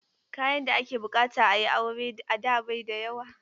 Kayan da ake buƙata a yi aure a da bai da yawa.